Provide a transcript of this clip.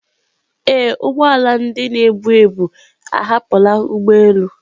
Ee, ụgbọ ala ndị na-ebu ebu ahapụla ụgbọ elu